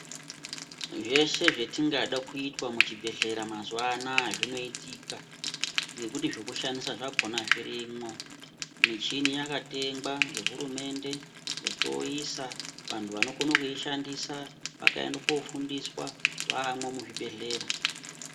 Zveshe zvetingada kuitwa muchibhedhlera mazuwa anaya zvinoitika ngekuti zvekushandisa zvakhona zvirimo muchini yakatengwa ngehurumende vochoisa vantu vanokona kuishandiswa vakaenda kofundiswa vaamo muzvibhedhleya.